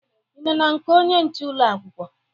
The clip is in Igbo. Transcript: Ị nọ na nke onye nche ụlọ akwụkwọ?